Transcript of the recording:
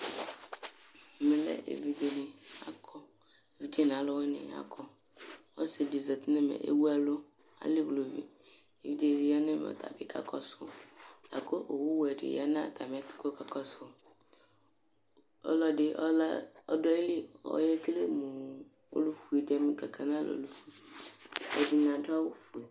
Ɛmɛ lɛ evidzeni akɔ evidze nʋ alʋwini ni akɔ osidi zati nʋ ɛmɛ ewʋ ɛlʋ ali ʋlʋvi evidze dibi yanʋ ɛmɛ ɔtabi kakɔsʋ, lakʋ owʋwɛ dibi yanʋ atami ɛtʋ kʋ ɔkakɔsʋ ɔlʋɛdi ɔdʋ ayili ɔyekele mʋ ɔlʋfue di kʋ akanʋ alɔnʋ ɛdini adʋ awʋfue